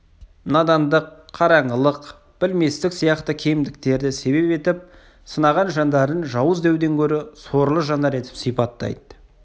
надандық қараңғылық білместік сияқты кемдіктерді себеп етіп сынаған жандарын жауыз деуден гөрі сорлы жандар етіп сипаттайды